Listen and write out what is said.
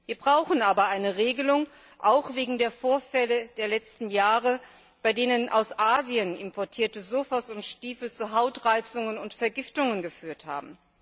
Wir brauchen aber eine Regelung, auch wegen der Vorfälle der letzten Jahre, bei denen aus Asien importierte Sofas und Stiefel zu Hautreizungen und Vergiftungen geführt haben.